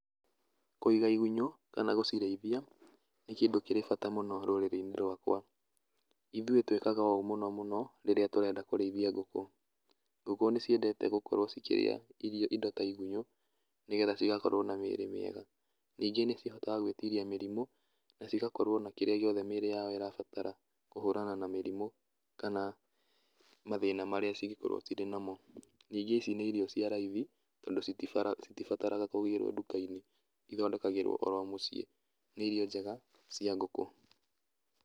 Kũiga igunyũ, kana gũcirĩithia, nĩ kĩndũ kĩrĩ bata mũno rũrĩrĩ-inĩ rwakwa. Ithuĩ twĩkaga ũũ mũno mũno rĩrĩa tũrenda kũrĩithia ngũkũ. Ngũkũ nĩciendete gũkorwo cikĩrĩa irio, indo ta igunyũ nĩgetha cigakorwo na mĩĩrĩ mĩega. Ningĩ nĩcihotaga gwĩtiria mĩrimũ na cigakorwo na kĩrĩa gĩothe mĩĩrĩ yao ĩrabatara, kũhũrana na mĩrimũ kana mathĩna marĩa cingĩkorwo cirĩ namo. Ningĩ ici nĩ irio cia raithi, tondũ citibataraga kũgirwo nduka-inĩ, ithondekagĩrwo oro mũciĩ. Nĩ irio njega cia ngũkũ.